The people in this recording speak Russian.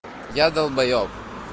я долбаёб